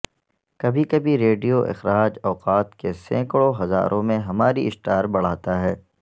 کبھی کبھی ریڈیو اخراج اوقات کے سینکڑوں ہزاروں میں ہماری اسٹار بڑھاتا ہے